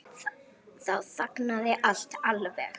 Þá þagnaði allt alveg.